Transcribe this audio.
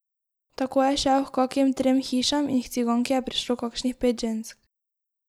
Tako je šel h kakim trem hišam in h Ciganki je prišlo kakšnih pet žensk.